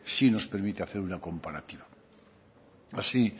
sí nos permite hacer una comparativa así